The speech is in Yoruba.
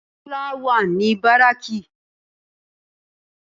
Tólá wà ní báráàkì